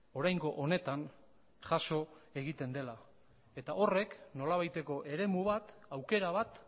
oraingo honetan jaso egiten dela eta horrek nolabaiteko eremu bat aukera bat